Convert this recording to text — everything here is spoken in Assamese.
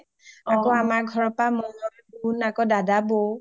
আকৌ আমাৰ ঘৰৰ পা মই, মোন, দাদা, বৌ